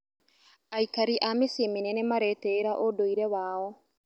Aikari a mĩciĩ mĩnene maretĩĩra ũndũire wao.